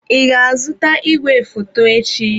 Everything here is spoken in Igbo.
Ị ga-azụta igwefoto echi?